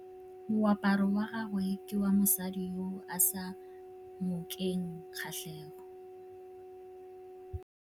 Moaparô wa gagwe ke wa mosadi yo o sa ngôkeng kgatlhegô.